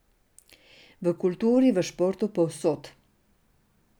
V kulturi, v športu, povsod.